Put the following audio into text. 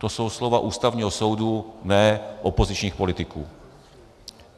To jsou slova Ústavního soudu, ne opozičních politiků.